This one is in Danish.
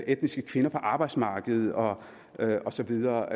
etniske kvinder på arbejdsmarkedet og og så videre